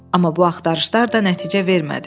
Amma bu axtarışlar da nəticə vermədi.